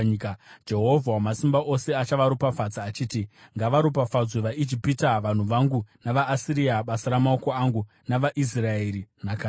Jehovha Wamasimba Ose achavaropafadza achiti, “Ngavaropafadzwe vaIjipita vanhu vangu, navaAsiria, basa ramaoko angu, navaIsraeri, nhaka yangu.”